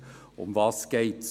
Worum geht es?